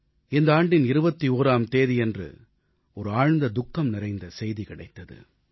இந்த ஆண்டின் 21ஆம் தேதியன்று ஒரு ஆழ்ந்த துக்கம் நிறைந்த செய்தி கிடைத்தது